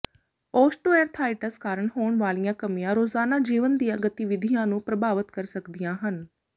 osteoarthritis ਕਾਰਨ ਹੋਣ ਵਾਲੀਆਂ ਕਮੀਆਂ ਰੋਜ਼ਾਨਾ ਜੀਵਨ ਦੀਆਂ ਗਤੀਵਿਧੀਆਂ ਨੂੰ ਪ੍ਰਭਾਵਿਤ ਕਰ ਸਕਦੀਆਂ ਹਨ